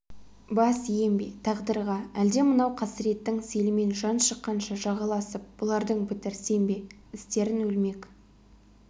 бас ием бе тағдырға әлде мынау қасіреттің селімен жан шыққанша жағаласып бұлардың бітірсем бе істерін өлмек